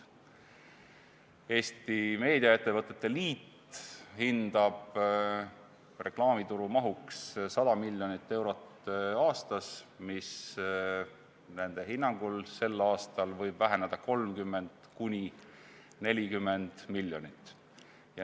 Eesti Meediaettevõtete Liit hindab reklaamituru mahuks 100 miljonit eurot aastas, mis nende hinnangul sel aastal võib väheneda 30–40 miljonit.